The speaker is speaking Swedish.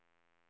kontakta